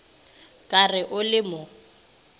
ka re o le mo